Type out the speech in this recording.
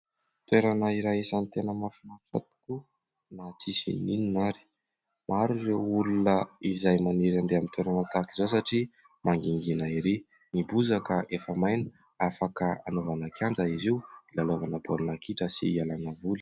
Toerana iray isany tena mahafinaritra tokoa na tsy misy na inona na inona ary. Maro ireo olona izay maniry ande amin'ny toerana tahaka izao satria mangingina ery. Ny bozaka efa maina afaka anaovana kianja izy io ilalaovana baolina kitra sy hialana voly.